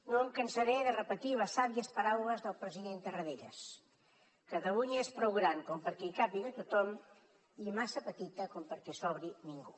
no em cansaré de repetir les sàvies paraules del president tarradellas catalunya és prou gran com perquè hi càpiga tothom i massa petita com perquè sobri ningú